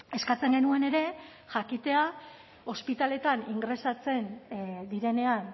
eskatzen genuen ere jakitea ospitaleetan ingresatzen direnean